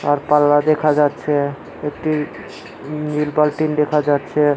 আর পাল্লা দেখা যাচ্ছে একটি নীল বালতিন দেখা যাচ্ছে।